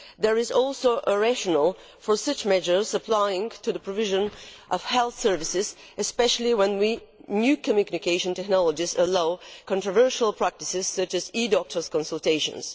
There is also a rationale for such measures applying to the provision of health services, especially when new communication technologies allow controversial practices such as e doctor consultations.